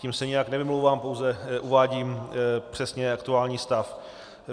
Tím se nijak nevymlouvám, pouze uvádím přesně aktuální stav.